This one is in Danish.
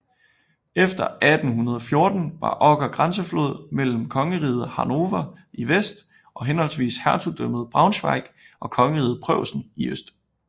Efter 1814 var Oker grænseflod mellem kongeriget Hannover i vest og henholdsvis hertugdømmet Braunschweig og kongeriget Preussen i øst